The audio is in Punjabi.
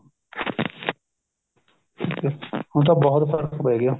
ਠੀਕ ਹੈ ਹੁਣ ਤਾਂ ਬਹੁਤ ਫ਼ਰਕ ਪੈ ਗਿਆ